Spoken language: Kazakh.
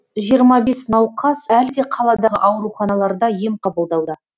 жиырма бес науқас әлі де қаладағы ауруханаларда ем қабылдауда